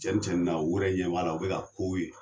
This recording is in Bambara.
Cɛn ni cɛnni na, u yɛrɛ ɲɛ b'a la o bɛ ka kow ye.